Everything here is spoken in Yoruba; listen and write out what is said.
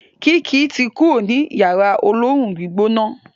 Kiki to kúrò ní Yàrá olóoru-gbígbóná.